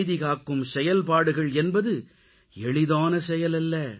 அமைதிகாக்கும் செயல்பாடுகள் என்பது எளிதான செயல் அல்ல